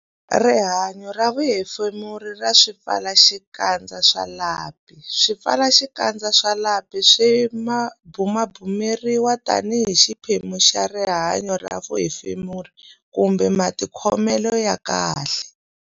Rihanyo ra vuhefemuri ra swipfalaxikandza swa lapi Swipfalaxikandza swa lapi swi bumabumeriwa tanihi xiphemu xa rihanyo ra vuhefemuri kumbe matikhomelo ya kahle.